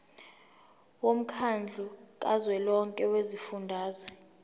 womkhandlu kazwelonke wezifundazwe